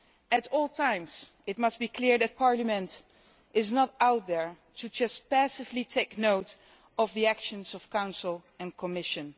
At all times, it must be clear that Parliament is not out there to just passively take note of the actions of the Council and the Commission.